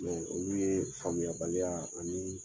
Mɛ olu ye faamuya baliya ani